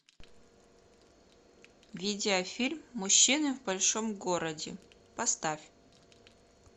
видеофильм мужчины в большом городе поставь